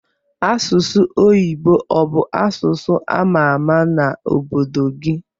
Asụsụ oyibo obu asụsụ amama na obodo gi?